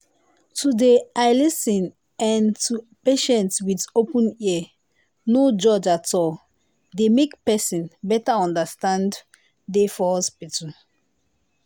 to dey l lis ten en to patient with open ear no judge at all they make better understanding dey for hospital.